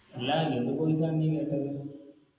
അല്ല എന്ത് Course ആ നീ കണ്ടത്